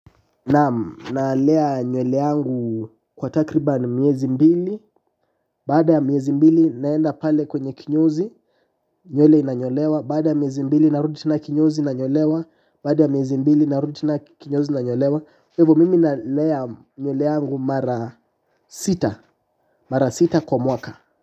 Naam nalea nywele yangu kwa takriban miezi mbili. Baada ya miezi mbili naenda pale kwenye kinyozi. Nywele inanyolewa. Baada ya miezi mbili narudi tena kinyozi nanyolewa. Hivo mimi nalea nywele yangu mara sita kwa mwaka.